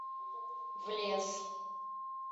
в лес